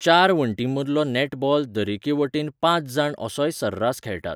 चार वण्टींमदलो नॅटबॉल दरेके वटेन पांच जाण असोय सर्रास खेळटात.